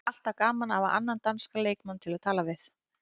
Það er alltaf gaman að hafa annan danskan leikmann til að tala við.